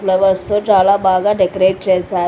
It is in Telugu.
ఫ్లవర్స్తో చాలా బాగా డెకరేట్ చేశారు.